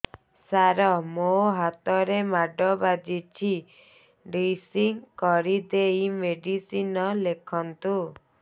ସାର ମୋ ହାତରେ ମାଡ଼ ବାଜିଛି ଡ୍ରେସିଂ କରିଦେଇ ମେଡିସିନ ଲେଖନ୍ତୁ